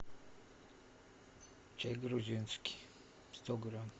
чай грузинский сто грамм